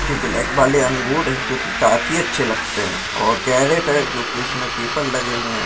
जो ब्लैक वाले अंगूर हैं जो कि काफी अच्छे लगते हैं और कैरेट है जो कि उसमे पेपर लगे हुए हैं।